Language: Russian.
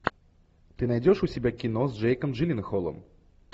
ты найдешь у себя кино с джейком джилленхолом